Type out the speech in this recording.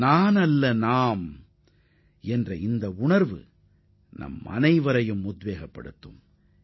நான் அல்ல நாங்கள் என்பது நிச்சயமாக நம் அனைவரையும் ஈர்ப்பதாக அமையும்